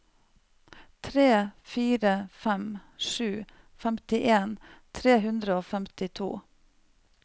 tre fire fem sju femtien tre hundre og femtito